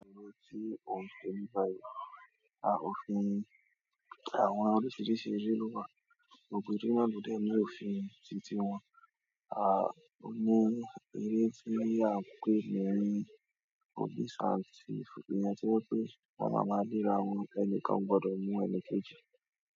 Àwọn oríṣiríṣi ere lo wa, gbogbo ere na lo dèni òfin titi wọn, à nínú eré tí a ń pè ní police and theif iyen ti won pé won máa ma le aràwọn ẹni kan o gbọdọ̀ mú ẹni kejì.